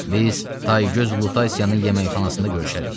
Biz tay göz Utasiyanın yeməkxanasında görüşərik.